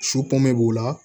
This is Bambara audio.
Su pɔme b'u la